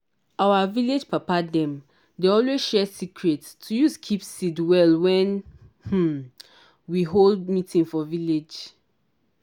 our vilage papa dem dey always share secret to use keep seed well wen um we hold meeting for village.